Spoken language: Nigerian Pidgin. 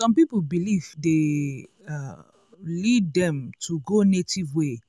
some people belief dey um lead dem go native way